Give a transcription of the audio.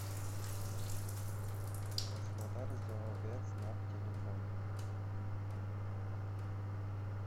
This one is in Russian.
краснодарзооветснаб телефон